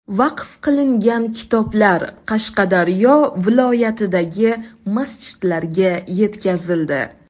Vaqf qilingan kitoblar Qashqadaryo viloyatidagi masjidlarga yetkazildi.